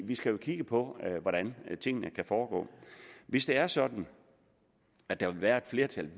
vi skal jo kigge på hvordan tingene kan foregå hvis det er sådan at der vil være et flertal